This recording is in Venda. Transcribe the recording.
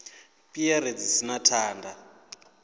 piere dzi si na thanda